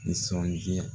Nisɔndiya